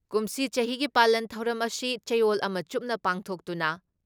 ꯀꯨꯝꯁꯤ ꯆꯍꯤꯒꯤ ꯄꯥꯂꯟ ꯊꯧꯔꯝ ꯑꯁꯤ ꯆꯌꯣꯜ ꯑꯃ ꯆꯨꯞꯅ ꯄꯥꯡꯊꯣꯛꯇꯨꯅ